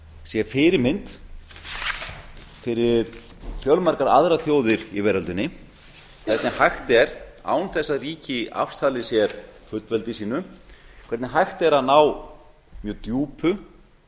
sé fyrirmynd fyrir fjölmargar aðrar þjóðir í veröldinni hvernig hægt er án þess að ríki afsali sér fullveldi sínu hvernig hægt er ná mjög djúpu